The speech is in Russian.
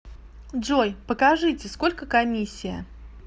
джой покажите сколько комиссия